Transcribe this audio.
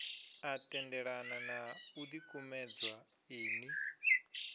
a tendelana na ḽikumedzwa iḽi